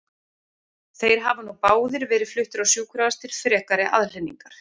Þeir hafa nú báðir verið fluttir á sjúkrahús til frekari aðhlynningar.